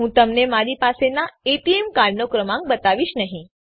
હું તમને મારી પાસેનાં એટીએમ કાર્ડનો ક્રમાંક બતાવીશ નહી